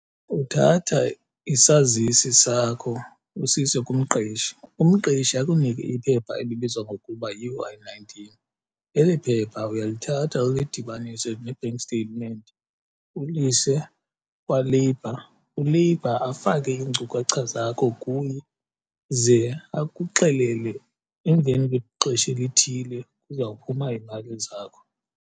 Uthatha isazisi sakho usise kumqeshi, umqeshi akunike iphepha elibizwa ngokuba yi-Y nineteen eli phepha uyalithatha ulidibanise ne-bank statement ulise kwaLabour. ULabour afake iinkcukacha zakho kuye ze akuxelele emveni kwexesha elithile kuzawuphuma iimali zakho.